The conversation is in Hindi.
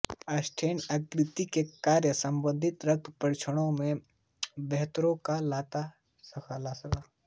स्टैटिन यकृत के कार्य संबंधी रक्त परीक्षणों में बढ़ोतरी ला सकता है